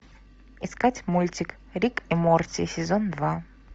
искать мультик рик и морти сезон два